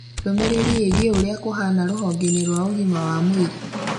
Ndũmĩrĩri ĩgiĩ ũrĩa kũhana rũhonge-inĩ rwa ũgima wa mwĩrĩ